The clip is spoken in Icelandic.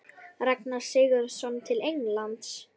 Ragnar Sigurðsson til Englands?